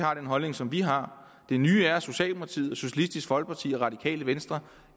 har den holdning som vi har det nye er at socialdemokratiet socialistisk folkeparti og radikale venstre